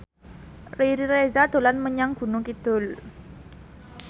Riri Reza dolan menyang Gunung Kidul